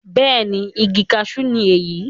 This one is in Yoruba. bẹ́ẹ̀ni, igi kasú ni èyí